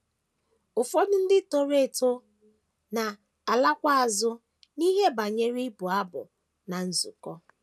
Ụfọdụ ndị toworo eto na - alakwa azụ n’ihe banyere ịbụ abụ ná nzukọ.